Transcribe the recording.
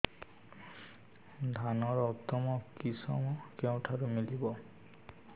ଧାନର ଉତ୍ତମ କିଶମ କେଉଁଠାରୁ ମିଳିବ